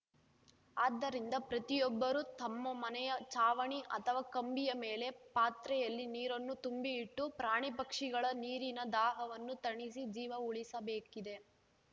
ಆದ್ದರಿಂದ ಪ್ರತಿಯೊಬ್ಬರೂ ತಮ್ಮ ಮನೆಯ ಛಾವಣಿ ಅಥವಾ ಕಂಬಿಯ ಮೇಲೆ ಪಾತ್ರೆಯಲ್ಲಿ ನೀರನ್ನು ತುಂಬಿ ಇಟ್ಟು ಪ್ರಾಣಿ ಪಕ್ಷಿಗಳ ನೀರಿನ ದಾಹವನ್ನು ತಣಿಸಿ ಜೀವ ಉಳಿಸಬೇಕಿದೆ